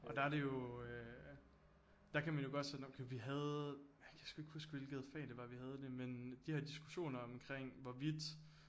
Og der er det jo øh der kan man jo godt sådan okay vi havde jeg kan sgu ikke huske hvilket fag det var vi havde det men de her diskussioner omkring hvorvidt